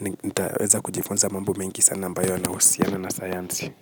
nitaweza kujifunza mambo mengi sana ambayo yanahusiana na sayansi.